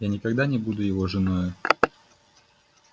я никогда не буду его женою